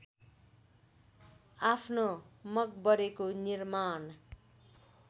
आफ्नो मकबरेको निर्माण